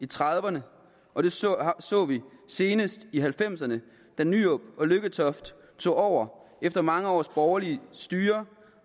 trediverne og det så så vi senest i nitten halvfemserne da nyrup og lykketoft tog over efter mange års borgerligt styre